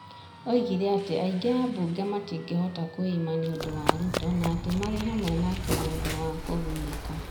Oigire atĩ aingĩ a ambunge matingĩhota kwĩima nĩ ũndũ wa Ruto na atĩ maarĩ hamwe nake nĩ ũndũ wa kũgunĩka.